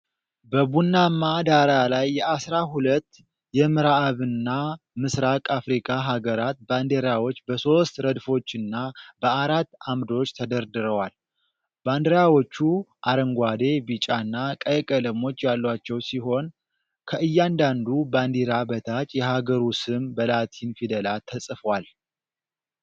በቡናማ ዳራ ላይ የአሥራ ሁለት የምዕራብና ምስራቅ አፍሪካ ሀገራት ባንዲራዎች በሦስት ረድፎችና በአራት አምዶች ተደርድረዋል። ባንዲራዎቹ አረንጓዴ፣ ቢጫና ቀይ ቀለሞች ያሏቸው ሲሆን፤ ከእያንዳንዱ ባንዲራ በታች የሀገሩ ስም በላቲን ፊደላት ተጽፏል።